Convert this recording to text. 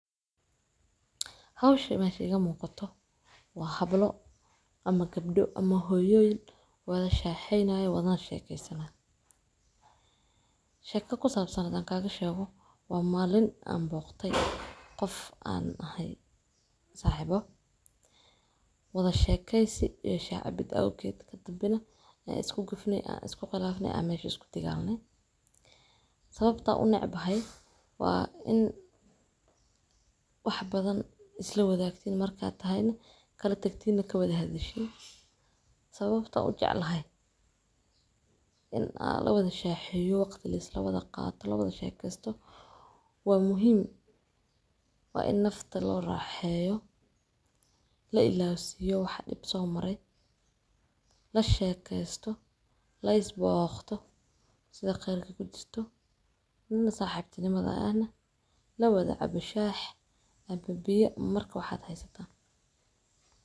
Hawsha, mesha ka muuqato waa hablo ama gabdho ama hooyooyin wada shaaxayna ay wada sheekaysan. Sheeko ku saabsan adag kaaga sheego, waa maalin aan booqtay qof aan ahay saaxiibo. Wada sheekaysi iyo cabid aukeedka dambena isku gudifnay isu khilaafnay ayshe isku tigaalno. Sababta u necbahay waa in wax badan isla wada tagtiin markaad tahay in kala tagtiina kabada hadhishii. Sababtoo u jeclahay in la wada shaaxiyo waqti la isla wada qaado la wada sheegaysto. Waa muhiim ah in nafta loo raaxeyo, la ilaalisayo, wax dhib soomarey, la sheekaysto, la is booqto sida qeerka gudisato, na saaxiibtinimada ayna la wada cabayo biyo marka waxaad haysataa.